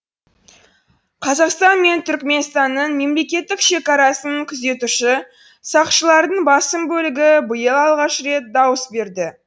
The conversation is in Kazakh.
қазақстан мен түрікменстанның мемлекеттік шекарасын күзетуші сақшылардың басым бөлігі биыл алғаш рет дауыс берді